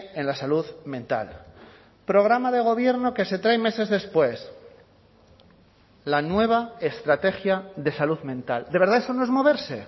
en la salud mental programa de gobierno que se traen meses después la nueva estrategia de salud mental de verdad eso no es moverse